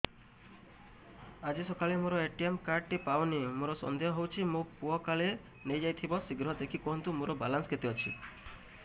ଆଜି ସକାଳେ ମୋର ଏ.ଟି.ଏମ୍ କାର୍ଡ ଟି ପାଉନି ମୋର ସନ୍ଦେହ ହଉଚି ମୋ ପୁଅ କାଳେ ନେଇଯାଇଥିବ ଶୀଘ୍ର ଦେଖି କୁହନ୍ତୁ ମୋର ବାଲାନ୍ସ କେତେ ଅଛି